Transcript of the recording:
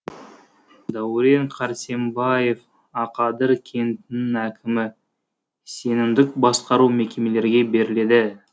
дәурен кәрсембаев ақадыр кентінің әкімі сенімдік басқару мекемелерге берледі